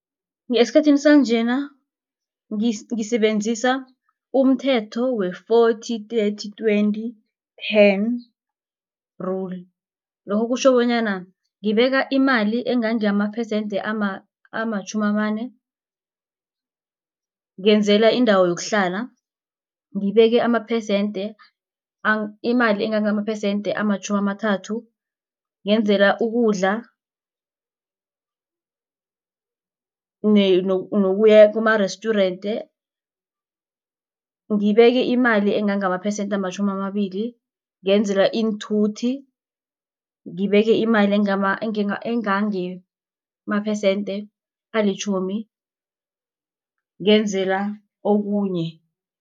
Esikhathini sanjena ngisebenzisa umthetho we-forty thirty twenty ten rule. Lokho kutjho bonyana ngibeka imali engangamaphesente amatjhumi amane ngenzela indawo yokuhlala. Ngibeke amaphesente imali engangamaphesente amatjhumi amathathu ngenzela ukudla nokuya kumarestjurente. Ngibeke imali engangamaphesente amatjhumi amabili ngenzela iinthuthi ngibeke imali engangamaphesente alitjhumi ngenzela okunye.